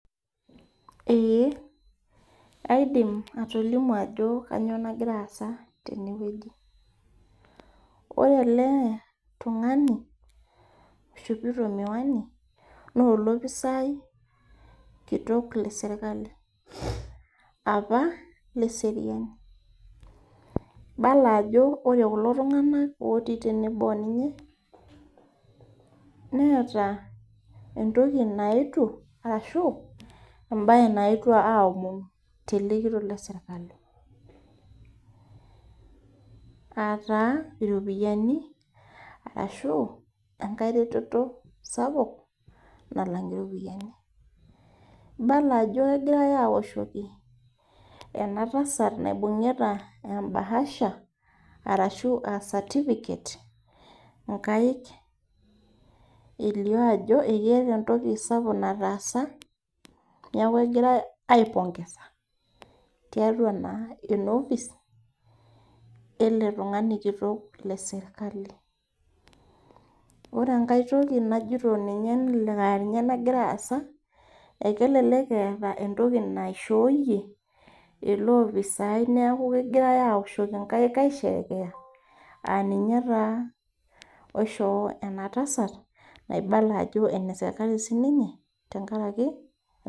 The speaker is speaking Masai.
Ee kaidim atolimu ajo kanyioo nagira aasa tenewueji. Ore ele tung'ani, oishopito miwani, nolopisai kitok lesirkali. Apa leseriani. Ibala ajo ore kulo tung'anak otii tenebo oninye, neeta entoki naetuo ashu ebae naetuo aomonu tele kitok lesirkali. Ataa iropiyiani, arashu enkae reteto sapuk, nalang' iropiyiani. Ibala ajo egirai awoshoki enatasat naibung'ita e bahasha ,arashu ah certificate, inkaik elio ajo ekeeta entoki sapuk nataasa, neeku egirai ai pongeza tiatua naa enofis, ele tung'ani kitok lesirkali. Ore enkae toki najito ninye nelelek aninye nagira aasa, ekelelek eeta entoki naishooyie ele opisai neeku kegirai awoshoki nkaik aisherekea, aninye taa oishoo enatasat naibala ajo ene serkali sininye, tenkaraki